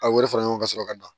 A bɛ fara ɲɔgɔn ka sɔrɔ ka dan